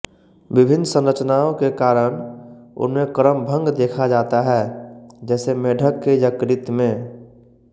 विभिन्न संरचनाओं के कारण उनमें क्रमभंग देखा जाता है जैसे मेढक के यकृत में